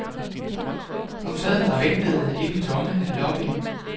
Hun sad og ventede i den tomme lobby.